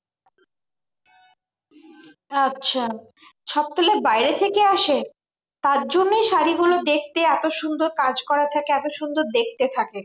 আচ্ছা সব তাহলে বাইরে থেকে আসে তার জন্যই শাড়ী গুলো দেখতে এত সুন্দর কাজ করা থাকে এত সুন্দর দেখতে থাকে।